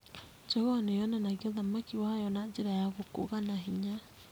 Njogoo nĩ yonanagia ũthamaki wayo na njĩra ya gũkũga na hinya.